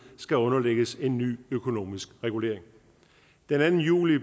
skulle underlægges en ny økonomisk regulering den anden juli